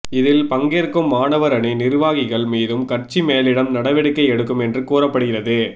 இதில் பங்கேற்கும் மாணவர் அணி நிர்வாகிகள் மீதும் கட்சி மேலிடம் நடவடிக்கை எடுக்கும் என்று கூறப்படுகிறது